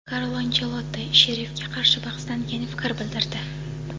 Karlo Anchelotti "Sherif"ga qarshi bahsdan keyin fikr bildirdi:.